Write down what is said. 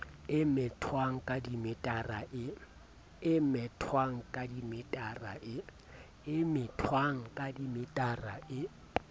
e methwang ka dimetara e